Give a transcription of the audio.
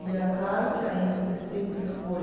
E é claro que a ênfase sempre foi